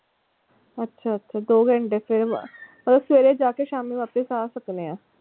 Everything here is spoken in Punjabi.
ਅੱਛਾ ਅੱਛਾ ਦੋ ਘੰਟੇ ਸਵਰੇ ਮਤਲਬ ਸਵੇਰੇ ਜਾਕੇ ਸ਼ਾਮੀ ਵਾਪਸ ਆ ਸਕਣੇ ਆ?